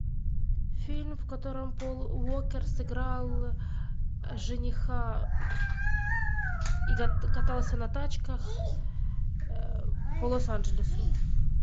фильм в котором пол уокер сыграл жениха катался на тачках по лос анджелесу